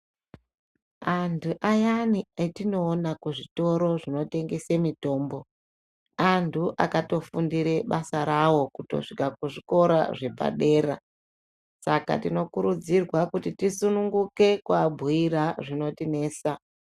Antu ayani etinowona kuzvitoro zvinotengese mitombo, antu akatofundire basa rawo kutosvika kuzvikora zvepadera. Saka tinokurudzirwa kuti tisununguke kwabuyira zvinotinesa.